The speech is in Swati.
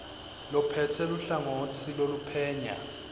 lophetse luhlangotsi loluphenya